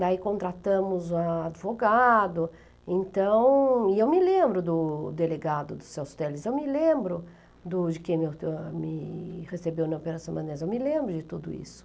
Daí contratamos um advogado, então... E eu me lembro do delegado do Celso Teles, eu me lembro do de quem me me recebeu na Operação, eu me lembro de tudo isso.